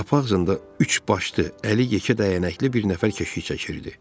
Qapı ağzında üçbaşlı, əli yekə dəyənəkli bir nəfər keşik çəkirdi.